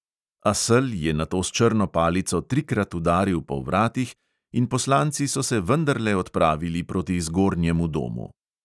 A sel je nato s črno palico trikrat udaril po vratih in poslanci so se vendarle odpravili proti zgornjemu domu.